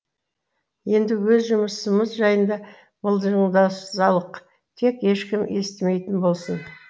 енді өз жұмысымыз жайында мылжыңдасалық тек ешкім естімейтін болсын